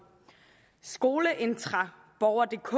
skoleintra borgerdk